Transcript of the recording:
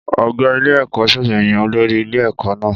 Ọ̀gá ilé-ẹ̀kọ́ ṣẹ̀ṣẹ̀ yan olórí ilé-ẹ̀kọ́ náà.